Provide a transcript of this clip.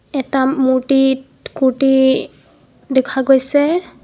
এটা মূৰ্তিত কুৰ্তি দেখা গৈছে.